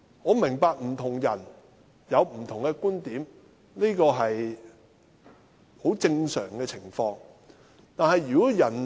我明白不同人有不同觀點，這是很正常的。